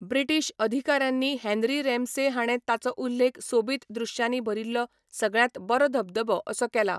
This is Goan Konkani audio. ब्रिटीश अधिकाऱ्यांनी हेन्री रॅम्से हाणें ताचो उल्लेख सोबीत दृश्यांनी भरिल्लो सगळ्यांत बरो धबधबो असो केला.